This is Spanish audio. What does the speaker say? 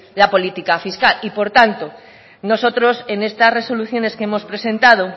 la política fiscal y por tanto nosotros en estas resoluciones que hemos presentado